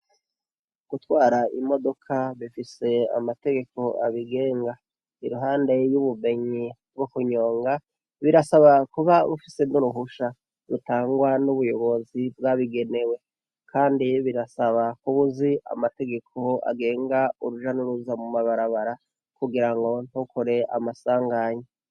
Gutwara imodoka bifise amategeko abigenga iruhande yubumenyi bwokunyonga birasaba kuba ufise nuruhusha rutangwa nubuyobozi bwabigenewe kandi birasaba kubuzi amategeko agenga uruja nuruza mumabarabara kugirango ntukore amasanganya